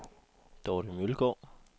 Dorte Mølgaard